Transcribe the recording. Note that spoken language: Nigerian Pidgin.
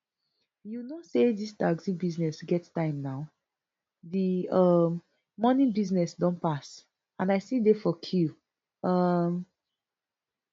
you know say dis taxi business get time now di um morning business don pass and i still dey for queue um